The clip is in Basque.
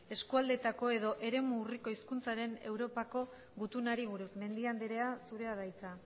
eskualdeetako edo eremu urriko hizkuntzen europako gutunari buruz mendia anderea zure da hitza